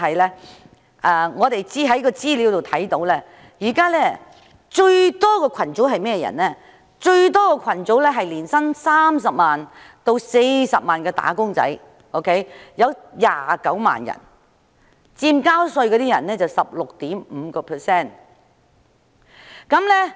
不過，資料顯示，納稅人數目最多的是年薪30萬元至40萬元的"打工仔女"，這個組別約有29萬人，佔納稅人的 16.5%。